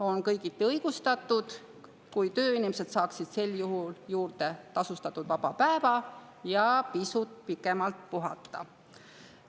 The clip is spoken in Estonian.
On kõigiti õigustatud, kui tööinimesed saaksid sel juhul juurde tasustatud vaba päeva ja võimaluse pisut pikemalt puhata.